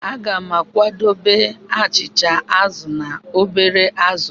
Aga m ga-akwadebe achịcha azụ̀ na obere azụ̀.